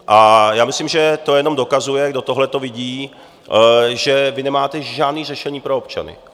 A já myslím, že to jenom dokazuje, kdo tohleto vidí, že vy nemáte žádné řešení pro občany.